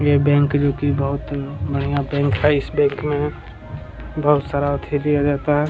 ये बैंक जो की बहुत बढ़िया बैंक है इस बैंक में बहुत सारा जाता है।